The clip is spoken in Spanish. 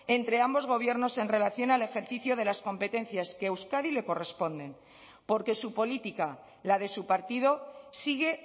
entre ambos gobiernos en relación al ejercicio de las competencias que a euskadi le corresponden porque su política la de su partido sigue